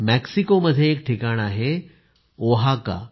मेक्सिकोमध्ये एक ठिकाण आहे ओहाका